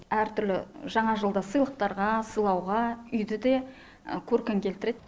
әртүрлі жаңа жылда сыйлықтарға сыйлауға үйді де көркін келтіреді